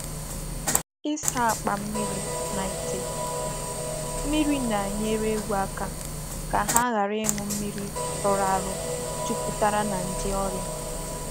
I saa akpa mmiri na ite mmiri na-enyere ewu aka ka ha ghara ịṅụ mmiri rụrụ arụ juputara na nje ọrịa.